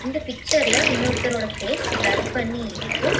இந்த பிச்சர்ல இன்னொருத்தரோட ஃபேஸ் பிளர் பண்ணி இருக்கு.